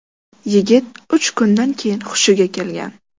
Yigit uch kundan keyin hushiga kelgan.